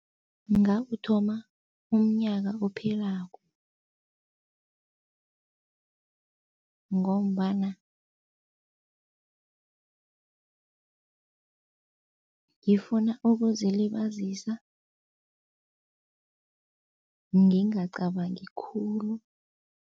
Ngawuthoma umnyaka ophelako ngombana ngifuna ukuzilibazisa ngingacabangi khulu.